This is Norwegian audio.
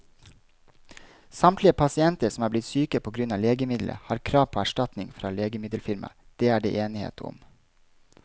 Samtlige pasienter som er blitt syke på grunn av legemiddelet, har krav på erstatning fra legemiddelfirmaet, det er det enighet om.